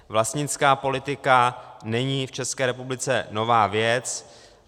Vlastnická politika není v České republice nová věc.